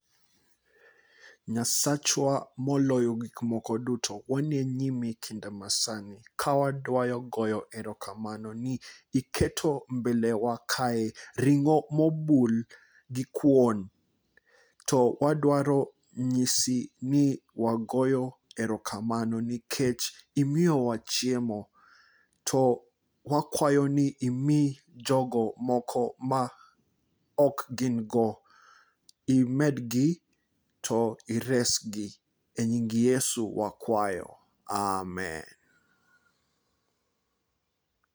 Nyasachwa moloyo gik moko duto wane nyimi kinde masani ka wadaro goyo erokamano ni iketo mbele wa kae ring'o mobul gi kuon. To wadwaro nyisi ni wagoyo erokamano nikech imiyo wa chiemo to wakwayo ni imi jogo moko ma ok gin go. Imedgi to ires gi e nying Yesu wakwayo amen.